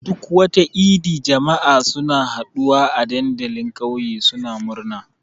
Duk wata idi, jama'a suna haɗuwa a dandalin ƙauye suna murna.